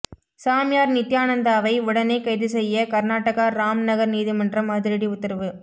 சாமியார் நித்தியானந்தாவை உடனே கைது செய்ய கர்நாடகா ராம்நகர் நீதிமன்றம் அதிரடி உத்தரவு